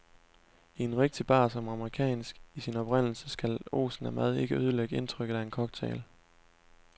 I en rigtig bar, som er amerikansk i sin oprindelse, skal osen af mad ikke ødelægge indtrykket af en cocktail.